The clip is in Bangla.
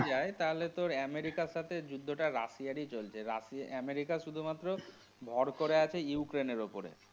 যদি যায় তাহলে তোর আমেরিকার সাথে যুদ্ধটা রাশিয়ার ই চলছে। রাশি, আমেরিকা শুধুমাত্র ভর করে আছে ইউক্রেইন্ এর ওপরে।